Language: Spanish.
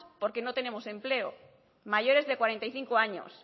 porque no tenemos empleo mayores de cuarenta y cinco años